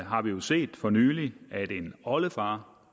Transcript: har vi vi set for nylig at en oldefar